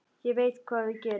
Ég veit hvað við gerum!